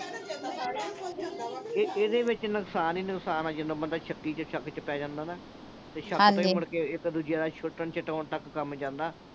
ਇਹਦੇ ਵਿੱਚ ਨੁਕਸਾਨ ਹੀ ਨੁਕਸਾਨ ਆ। ਜਦੋਂ ਬੰਦਾ ਸ਼ੱਕੀ ਤੇ ਸ਼ੱਕ ਚ ਪੈ ਜਾਂਦਾ ਨਾ, ਫਿਰ ਸ਼ੱਕ ਤਾਂ ਨਾ ਮੁੜ ਕੇ ਇੱਕ-ਦੂਜੇ ਦਾ ਛੁੱਟਣ-ਛੁਟਾਉਣ ਤੱਕ ਕੰਮ ਜਾਂਦਾ।